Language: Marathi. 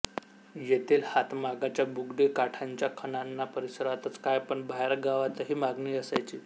येथील हातमागाच्या बुगडी काठांच्या खणांना परिसरातच काय पण बाहेरगावातही मागणी असायची